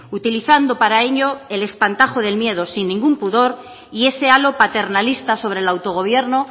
utilizando para ello el espantajo del miedo sin ningún pudor y ese halo paternalista sobre el autogobierno